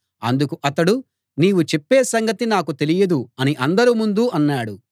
అందుకు అతడు నీవు చెప్పే సంగతి నాకు తెలియదు అని అందరి ముందూ అన్నాడు